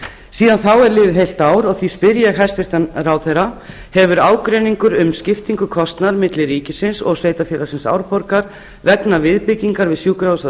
síðan þá er liðið heilt ár og því spyr ég hæstvirtan ráðherra hefur ágreiningur um skiptingu kostnaðar milli ríkisins og sveitarfélagsins árborgar vegna viðbyggingar við sjúkrahúsið á